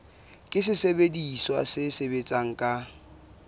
ke sesebediswa se sebetsang ka